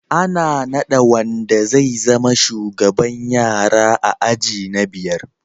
Ana nada wanda zai zama shugaban yara a aji na biyar